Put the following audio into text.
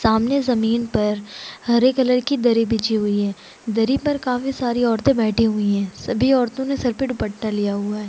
सामने ज़मीन पर हरे कलर की दरी बिछी हुई है दरी पर काफी सारी औरते बैठी हुई है सभी औरतों ने सर पे दुपट्टा लिया हुआ हैं।